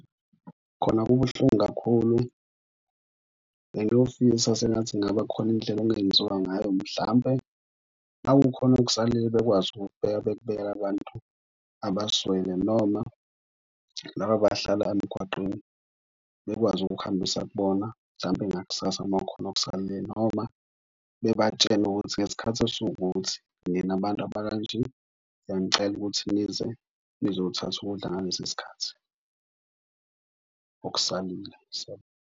Khona kubuhlungu kakhulu bengiyofisa sengathi kungaba khona indlela ekungenziwa ngayo. Mhlampe uma kukhona okusalile bekwazi ukukubeka, bekubekele abantu abaswele noma laba abahlala emgwaqeni bekwazi ukukuhambisa kubona. Mhlampe ngakusasa, uma kukhona okusamele, noma bebatshene ukuthi ngesikhathi esiwukuthi nina bantu abakanje, siyanicela ukuthi nize nizothatha ukudla ngalesi sikhathi okusalile .